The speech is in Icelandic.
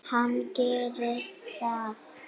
Hann gerir það.